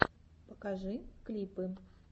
покажи клипы